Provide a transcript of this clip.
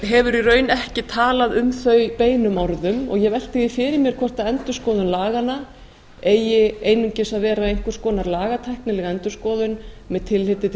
hefur í raun ekki talað um þau beinum orðum og ég velti því fyrir mér hvort endurskoðun laganna eigi einungis að vera einhvers konar lagatæknileg endurskoðum með tilliti til